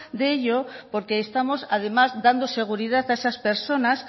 de ello porque estamos además dando seguridad a esas personas